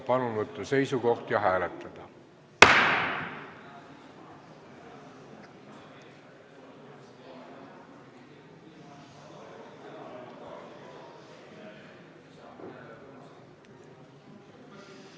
Palun võtta seisukoht ja hääletada!